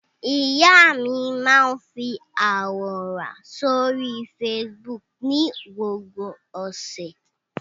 Ìyá mi máa àwòrán sórí Facebook ní gbogbo ọ̀sẹ̀.